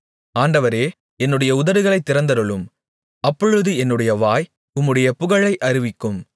ஆண்டவரே என்னுடைய உதடுகளைத் திறந்தருளும் அப்பொழுது என்னுடைய வாய் உம்முடைய புகழை அறிவிக்கும்